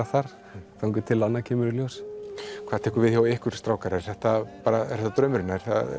þar þangað til annað kemur í ljós hvað tekur við hjá ykkur strákar er þetta bara draumurinn